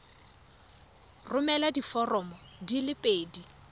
romela diforomo di le pedi